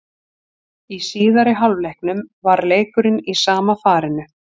Í síðari hálfleiknum var leikurinn í sama farinu.